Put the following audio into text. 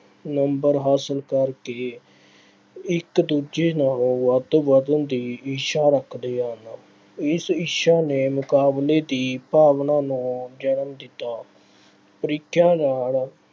number ਹਾਸਿਲ ਕਰਕੇ ਇੱਕ ਦੂਜੇ ਨਾਲੋਂ ਵਾਧੋ ਵਧਣ ਦੀ ਇੱਛਾ ਰੱਖਦੇ ਹਨ। ਇਸ ਇੱਛਾ ਨੇ ਮੁਕਾਬਲੇ ਦੀ ਭਾਵਨਾ ਨੂੰ ਜਨਮ ਦਿੱਤਾ। ਪ੍ਰੀਖਿਆ ਨਾਲ